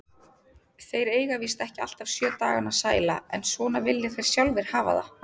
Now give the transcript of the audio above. Þeir eiga víst ekki alltaf sjö dagana sæla, en svona vilja þeir sjálfir hafa það.